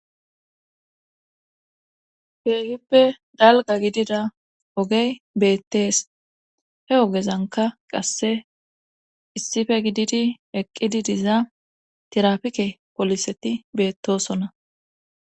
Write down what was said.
Keehippe galga gidida ogey beettees he ogezanka qasse issife gididi eqqidi diza tirafike poliseti beettosonna